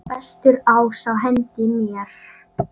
Bestur ás á hendi mér.